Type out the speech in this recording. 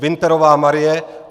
Winterová Marie